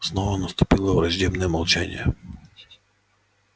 снова наступило враждебное молчание